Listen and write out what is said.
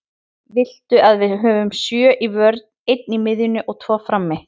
Viltu að við höfum sjö í vörn, einn á miðjunni og tvo frammi?